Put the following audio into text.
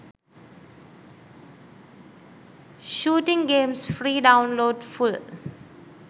shooting games free download full